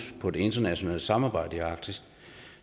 på det internationale samarbejde i arktis